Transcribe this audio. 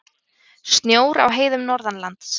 Snjór á heiðum norðanlands